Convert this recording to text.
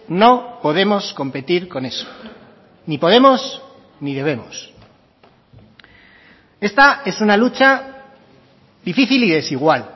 no podemos competir con eso ni podemos ni debemos esta es una lucha difícil y desigual